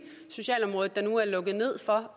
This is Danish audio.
sociale område der nu er lukket ned for